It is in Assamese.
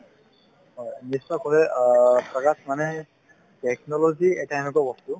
হয় মানে এই technology এটা এনেকুৱা বস্তু